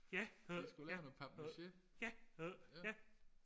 de skulle lave noget papmache